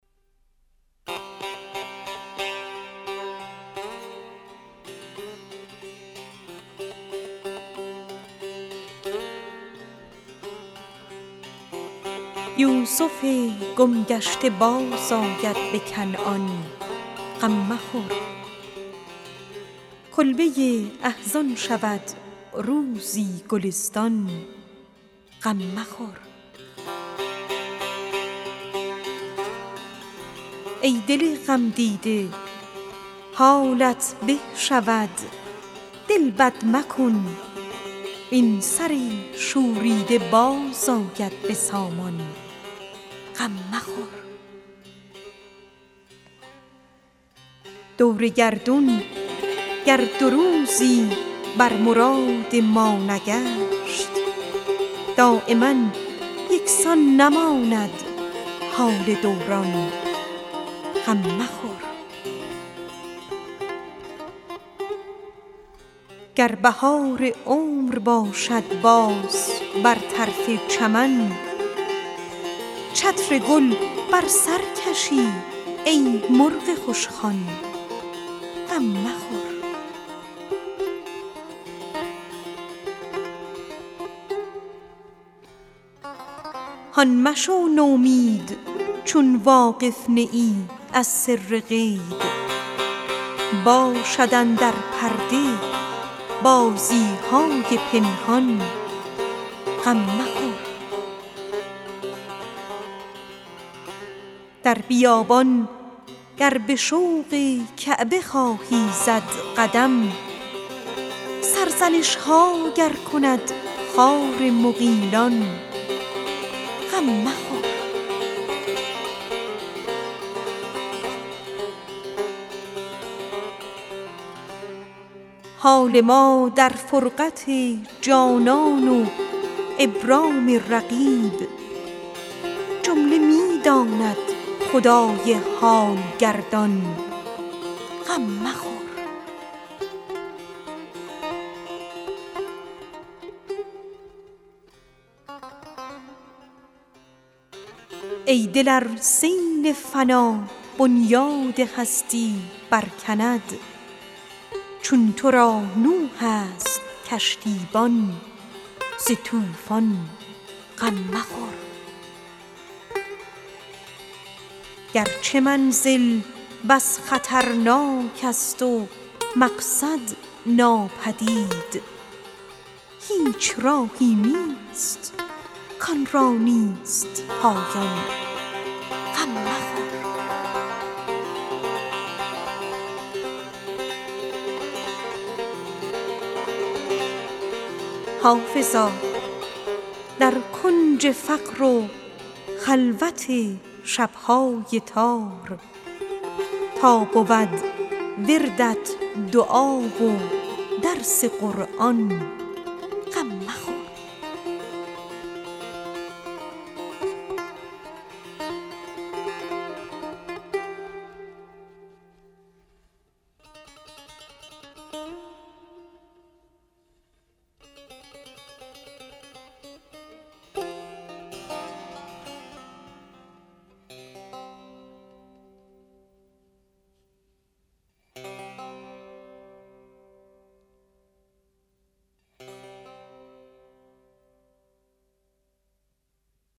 یوسف گم گشته بازآید به کنعان غم مخور کلبه احزان شود روزی گلستان غم مخور ای دل غمدیده حالت به شود دل بد مکن وین سر شوریده باز آید به سامان غم مخور گر بهار عمر باشد باز بر تخت چمن چتر گل در سر کشی ای مرغ خوشخوان غم مخور دور گردون گر دو روزی بر مراد ما نرفت دایما یکسان نباشد حال دوران غم مخور هان مشو نومید چون واقف نه ای از سر غیب باشد اندر پرده بازی های پنهان غم مخور ای دل ار سیل فنا بنیاد هستی برکند چون تو را نوح است کشتیبان ز طوفان غم مخور در بیابان گر به شوق کعبه خواهی زد قدم سرزنش ها گر کند خار مغیلان غم مخور گرچه منزل بس خطرناک است و مقصد بس بعید هیچ راهی نیست کآن را نیست پایان غم مخور حال ما در فرقت جانان و ابرام رقیب جمله می داند خدای حال گردان غم مخور حافظا در کنج فقر و خلوت شب های تار تا بود وردت دعا و درس قرآن غم مخور